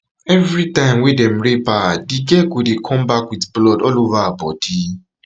evritime wey dem rape her di girl go dey come back wit blood all ova her bodi